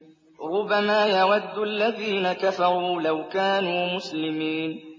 رُّبَمَا يَوَدُّ الَّذِينَ كَفَرُوا لَوْ كَانُوا مُسْلِمِينَ